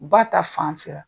Ba ta fan fɛ wa ?